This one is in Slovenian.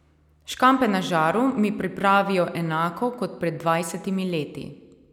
Škampe na žaru mi pripravijo enako kot pred dvajsetimi leti.